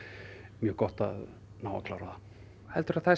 mjög gott að ná að klára það heldurðu að það